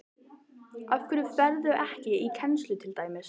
Af hverju ferðu ekki í kennslu til dæmis?